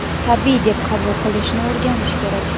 tabiiy deb qabul qilishni o‘rganish kerak.